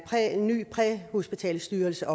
ny hospitalsstyrelse